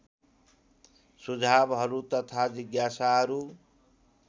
सुझावहरू तथा जिज्ञासाहरू